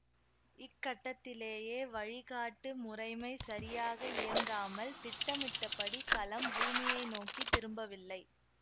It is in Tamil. இக்கட்டத்திலேயே வழிகாட்டு முறைமை சரியாக இயங்காமல் திட்டமிட்டபடி கலம் பூமியை நோக்கி திரும்பவில்லை